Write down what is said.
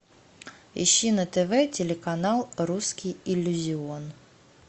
ищи на тв телеканал русский иллюзион